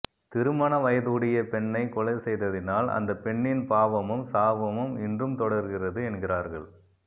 திருமண வயதுடைய பெண்ணை கொலை செய்ததினால் அந்த பெண்ணின் பாவமும் சாபமும் இன்றும் தொடர்கிறது என்கிறார்கள்